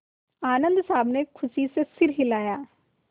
आनन्द साहब ने खुशी से सिर हिलाया